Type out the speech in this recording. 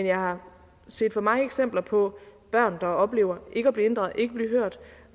jeg har set for mange eksempler på børn der oplever ikke at blive inddraget og ikke at blive hørt